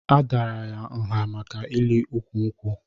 A dàrà ya nha maka ili ụkwụ nkwụ